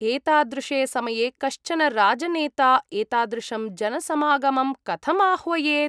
एतादृशे समये कश्चन राजनेता एतादृशं जनसमागमं कथं आह्वयेत्?